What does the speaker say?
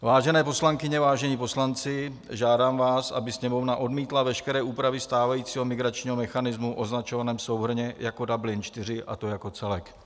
Vážené poslankyně, vážení poslanci, žádám vás, aby Sněmovna odmítla veškeré úpravy stávajícího migračního mechanismu označovaného souhrnně jako Dublin IV, a to jako celek.